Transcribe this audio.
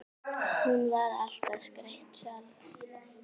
Hún var alltaf skreytt sjálf.